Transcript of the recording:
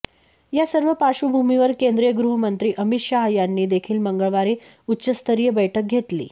या सर्व पार्श्वभूमीवर केंद्रीय गृहमंत्री अमित शाह यांनी देखील मंगळवारी उच्चस्तरीय बैठक घेतली